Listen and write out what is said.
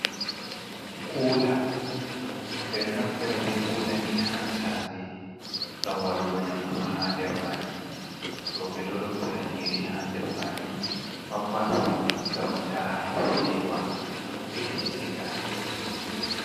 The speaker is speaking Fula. Kuula ɓeɗo naftira be kula ni ha sare, ngam waɗugo nyamdu ha nder majum. Roɓe ɗo rottira nyiri ha nder majuma mabɓa ngam ta fewa ɓe Siga.